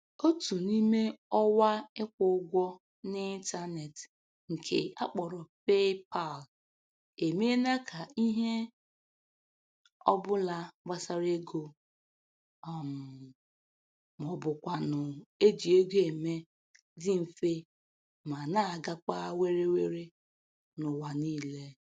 Otu n'ime ọwa ịkwụ ụgwọ n'ịntaneetị nke a kpọrọ PayPal emeela ka ihe ọbụla gbasara ego um maọbụkwanụ eji ego eme dị mfe ma na-agakwa were were n'ụwa niile